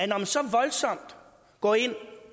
når man så voldsomt går ind